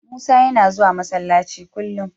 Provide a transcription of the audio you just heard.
Musa yana zuwa Masallaci kullum.